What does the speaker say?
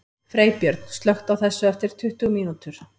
Freybjörn, slökktu á þessu eftir tuttugu mínútur.